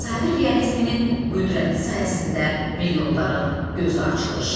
Sabir realizminin qüdrəti sayəsində milyonların gözü açılır.